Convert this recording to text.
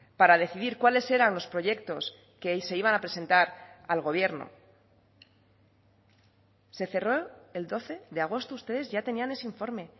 para decidir cuáles eran los proyectos que se iban a presentar al gobierno se cerró el doce de agosto ustedes ya tenían ese informe